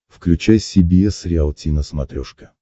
включай си би эс риалти на смотрешке